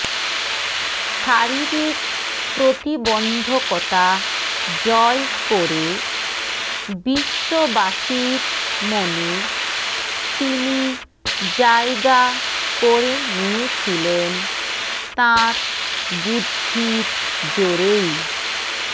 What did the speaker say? শারীরিক প্রতিবন্ধকতা জয় করে বিশ্ববাসীর মনে তিনি জায়গা করে নিয়েছিলেন তাঁর বুদ্ধির জোরেই